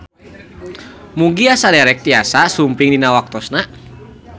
Mugia saderek tiasa sumping dina waktosna.